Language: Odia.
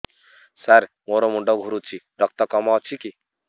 ସାର ମୋର ମୁଣ୍ଡ ଘୁରୁଛି ରକ୍ତ କମ ଅଛି କି